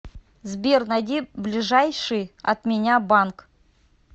сбер найди ближайший от меня банк